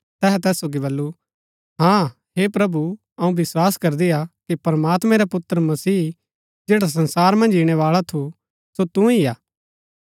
तैहै तैस सोगी बल्लू हाँ हे प्रभु अऊँ विस्वास करदी हा कि प्रमात्मैं रा पुत्र मसीह जैडा संसार मन्ज ईणैबाळा थू सो तू ही हा